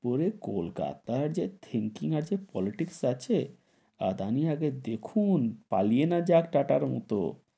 পরে কলকাতায় যে thinking আছে politics আছে, আদানি আগে দেখুন, পালিয়ে না যাক টাটার মতো,